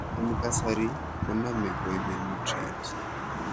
En kasari konome koibe nutrients